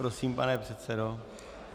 Prosím, pane předsedo.